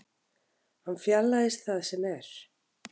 Hann fjarlægist það sem er.